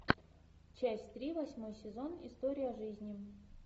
часть три восьмой сезон история жизни